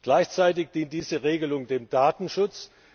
Gleichzeitig dient diese Regelung dem Datenschutz.